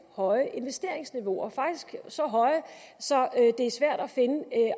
høje investeringsniveauer faktisk så høje så det er svært at finde